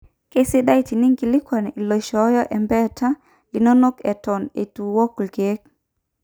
Keisidai teninkilikuan iloishooyo embeeta linonok eton eitu iwok irkeek.